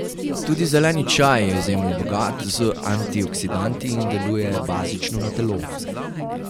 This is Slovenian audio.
Tudi zeleni čaj je izjemno bogat z antioksidanti in deluje bazično na telo.